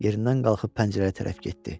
Yerindən qalxıb pəncərəyə tərəf getdi.